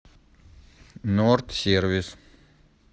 норд сервис